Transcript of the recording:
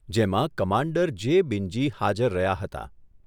જેમાં કમાન્ડર જે બિન્જી હાજર રહ્યા હતા.